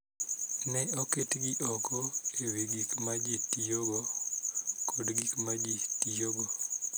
Ne oketgi oko e wi gik ma ji tiyogo kod gik ma ji tiyogo.